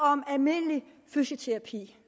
om almindelig fysioterapi